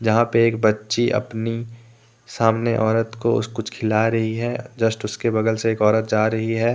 जहां पे एक बच्ची अपनी सामने औरत को कुछ खिला रही है। जस्ट उसके बगल से एक औरत जा रही है।